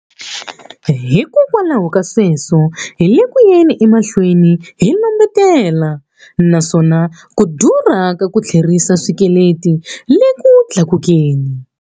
Hikwalaho ka sweswo, hi le ku yeni emahlweni hi lombetela, naswona ku durha ka ku tlherisa xikweleti le ku tlakukeni.